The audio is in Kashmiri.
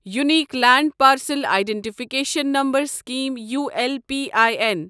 unique land parcel identification number scheme ULPIN